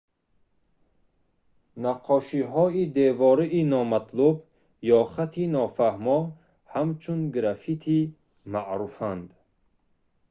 наққошиҳои девории номатлуб ё хати нофаҳмо ҳамчун граффити маъруфанд